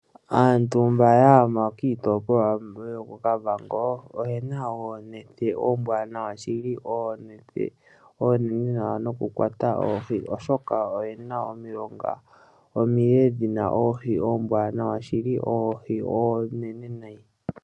Aantu mba ya gama kiitopolwa yoko Kavango oyena oonete ombwanawa shili. Oonete oonene nawa noku kwata oohi oshoka oyena omilonga omile dhina oohi ombwanawa shili, oohi oonene nayi.